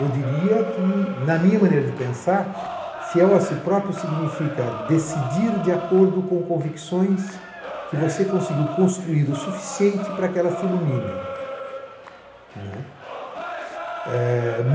Eu diria que, na minha maneira de pensar, fiel a si próprio significa decidir de acordo com convicções que você conseguiu construir o suficiente para que elas te iluminem.